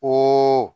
O